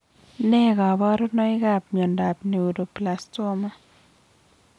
Nee kaparunoik ap miondap neuroblastoma